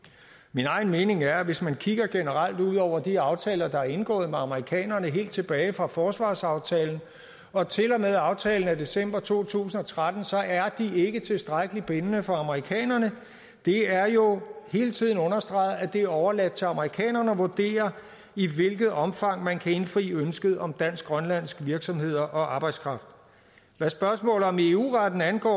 min egen mening er at hvis man kigger generelt ud over de aftaler der er indgået med amerikanerne helt tilbage fra forsvarsaftalen og til og med aftalen af december to tusind og tretten så er de ikke tilstrækkelig bindende for amerikanerne det er jo hele tiden understreget at det er overladt til amerikanerne at vurdere i hvilket omfang man kan indfri ønsket om dansk grønlandske virksomheder og arbejdskraft hvad spørgsmålet om eu retten angår